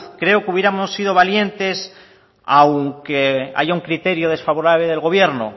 creo que hubiéramos sido valientes aunque haya un criterio desfavorable del gobierno